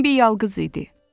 Bembi yalqız idi.